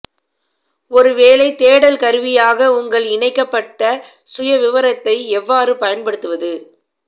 ஒரு வேலை தேடல் கருவியாக உங்கள் இணைக்கப்பட்ட சுயவிவரத்தை எவ்வாறு பயன்படுத்துவது